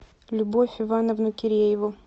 любовь ивановну кирееву